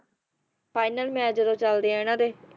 final match ਜਦੋਂ ਚੱਲਦੇ ਆ ਇਨ੍ਹਾਂ ਦੇ